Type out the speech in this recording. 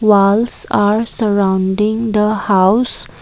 walls are surrounding the house.